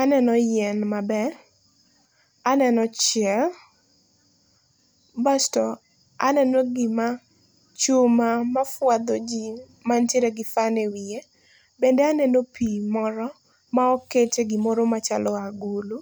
Aneno yien maber, aneno chia, basto aneno gima, chuma mafuadho jii mantiere gi fan e wiye. Bende aneno pii moro maoket e gimaoro machalo agulu.